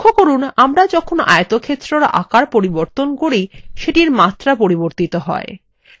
লক্ষ্য করুন আমরা যখন আয়তক্ষেত্রের আকার পরিবর্তন করি সেটির মাত্রা পরিবর্তিত হয়